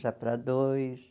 Já para dois.